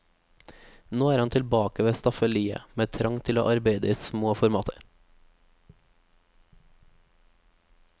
Nå er han tilbake ved staffeliet, med trang til å arbeide i små formater.